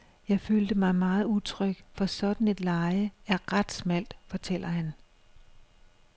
Jeg følte mig meget utryg, for sådant et leje er ret smalt, fortæller han.